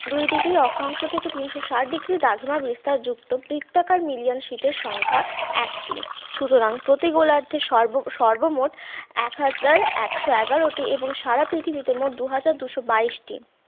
দুই degree অক্ষাংশ থেকে তিনশো ষাট degree দ্রাঘিমা বিস্তার যুক্ত বৃত্তাকার million sit এর সংখ্যা এক টি সুতরাং প্রতি গোলার্ধে সর্বমোট এক হাজার একশো এগারোটি এবং সারা পৃথিবীতে মোট দু হাজার দুশো বাইশ টি